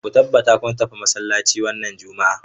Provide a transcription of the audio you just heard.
Ku tabbata kun tafi masallaci wannan Juma'a.